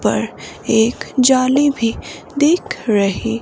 पर एक जाली भी देख रही--